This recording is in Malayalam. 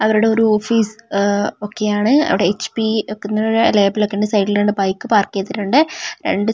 അവരുടെ ഒരു ഓഫീസ് അ ഒക്കെയാണ് അവിടെ എച്ച്പി ഒക്കെ ലേബൽ ഒക്കെയുണ്ട് സൈഡിൽ രണ്ട് ബൈക്ക് പാർക്ക് ചെയ്തിട്ടുണ്ട് രണ്ട് ചെടി --